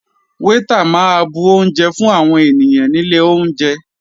Waiter máa bu oúnjẹ fún àwọn ènìyàn nílé oúnjẹ.